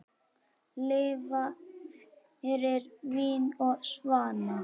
Lifa fyrir vín og svanna.